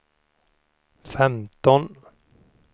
femton